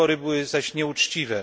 Wybory były zaś nieuczciwe.